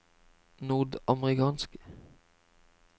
nordamerikanske